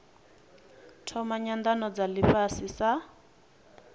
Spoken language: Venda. thoma nyanano dza ifhasi sa